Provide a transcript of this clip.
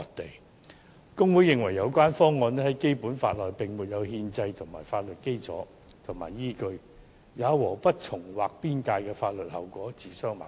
大律師公會認為，有關方案在《基本法》內並沒有憲制法律基礎和依據，也和不重劃邊界的法律後果自相矛盾。